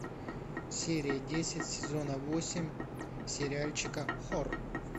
серия десять сезона восемь сериальчика хор